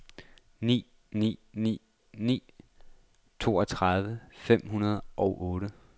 ni ni ni ni toogtredive fem hundrede og otte